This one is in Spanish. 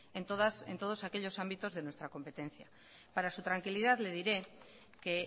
en todos aquellos ámbitos de nuestra competencia para su tranquilidad le diré que